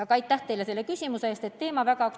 Aga aitäh teile selle küsimuse eest!